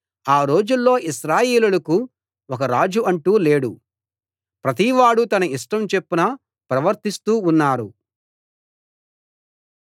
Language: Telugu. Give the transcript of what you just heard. ఆ రోజుల్లో ఇశ్రాయేలీయులకు ఒక రాజు అంటూ లేడు ప్రతి వాడూ తన ఇష్టం చొప్పున ప్రవర్తిస్తూ ఉన్నారు